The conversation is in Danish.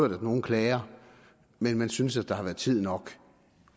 nogle klager men man synes at der har været tid nok